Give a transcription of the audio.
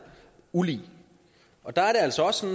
ulig og der er det altså også